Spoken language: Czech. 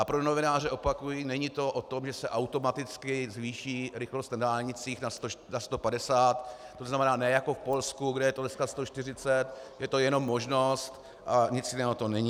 A pro novináře opakuji, není to o tom, že se automaticky zvýší rychlost na dálnicích na 150, to znamená ne jako v Polsku, kde je to dneska 140, je to jenom možnost a nic jiného to není.